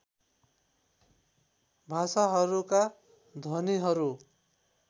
भाषाहरूका ध्वनिहरू